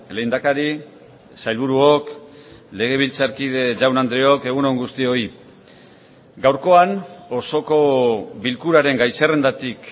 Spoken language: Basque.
lehendakari sailburuok legebiltzarkide jaun andreok egun on guztioi gaurkoan osoko bilkuraren gai zerrendatik